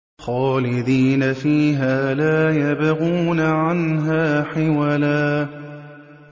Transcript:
خَالِدِينَ فِيهَا لَا يَبْغُونَ عَنْهَا حِوَلًا